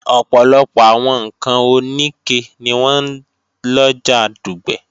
Ọ̀pọ̀lọpọ̀ àwọn ǹkan òníke ni wọ́n ń lọjà Dùgbẹ̀